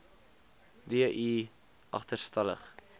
d i agterstallig